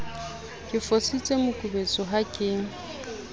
ke fositse mokubetso ha ke